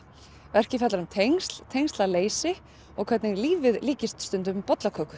verkið fjallar um tengsl tengslaleysi og hvernig lífið líkist stundum